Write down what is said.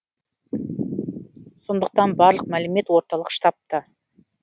сондықтан барлық мәлімет орталық штабта